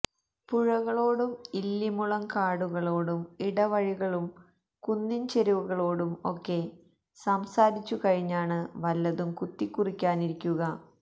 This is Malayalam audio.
പുഴകളോടും ഇല്ലി മുളംകടുകളോടും ഇടവഴികളുടും കുന്നിൻചെരുവുകളോടും ഒക്കെ സംസാരിച്ചുകഴിഞ്ഞാണ് വല്ലതും കുത്തിക്കുറിക്കാനിരിക്കുക